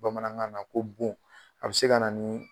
Bamanankan na ko bon. A be se ka na ni